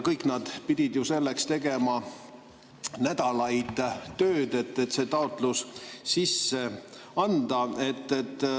Kõik nad pidid ju tegema nädalaid tööd, selleks et see taotlus sisse anda.